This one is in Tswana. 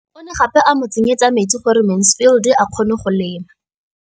O ne gape a mo tsenyetsa metsi gore Mansfield a kgone go lema.